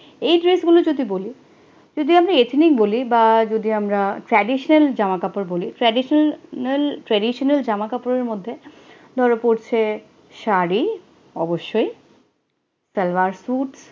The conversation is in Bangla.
এই dress গুলো যদি বলি, যদি আমি ethnic বলি বা যদি আমরা, traditional জামা কাপড় বলি, traditional traditional জামা কাপড়ের মধ্যে ধরা পড়ছে শাড়ি অবশ্যই সালভার সুট